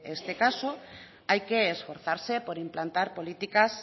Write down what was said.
este caso hay que esforzarse por implantar políticas